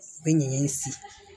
U bɛ ɲɛgɛn in sigi